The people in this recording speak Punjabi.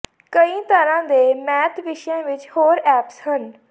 ਕਈ ਤਰ੍ਹਾਂ ਦੇ ਮੈਥ ਵਿਸ਼ਿਆਂ ਵਿੱਚ ਹੋਰ ਐਪਸ ਹਨ